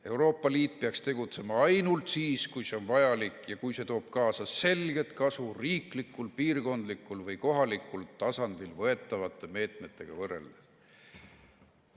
Euroopa Liit peaks tegutsema ainult siis, kui see on vajalik ja kui see toob kaasa selget kasu riiklikul, piirkondlikul või kohalikul tasandil võetavate meetmetega võrreldes.